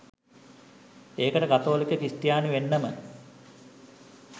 ඒකට කතෝලික ක්‍රිස්තියානි වෙන්නම